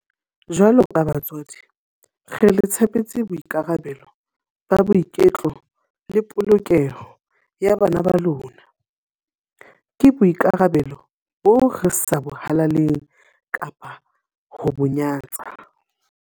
Jwaloka batswadi, le re tshepetse boikarabelo ba boiketlo le polokeho ya bana ba lona. Ke boikarabelo boo re sa bo halaleng kapa ho bo nyatsa.